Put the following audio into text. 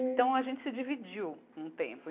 Então, a gente se dividiu um tempo.